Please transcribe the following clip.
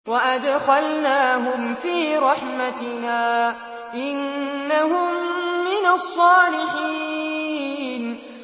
وَأَدْخَلْنَاهُمْ فِي رَحْمَتِنَا ۖ إِنَّهُم مِّنَ الصَّالِحِينَ